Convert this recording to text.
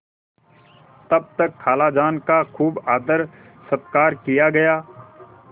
तब तक खालाजान का खूब आदरसत्कार किया गया